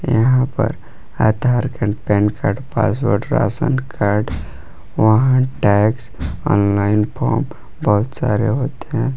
यहां पर Aadhaar PAN card password ration card वाहन टैक्स ऑनलाइन फॉर्म बहुत सारे होते हैं।